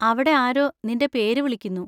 അവിടെ ആരോ നിന്‍റെ പേര് വിളിക്കുന്നു.